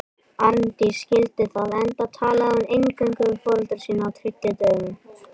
Arndís skildi það, enda talaði hún eingöngu við foreldra sína á tyllidögum.